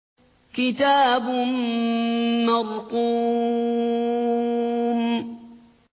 كِتَابٌ مَّرْقُومٌ